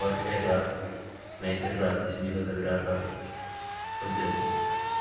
Warqeerraa, meetiirraa fi sibiilota biraarraa hojjatama.